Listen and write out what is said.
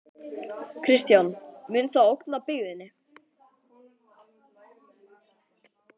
Kristján: Mun það ógna byggðinni?